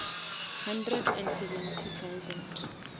hundred and seventy thousand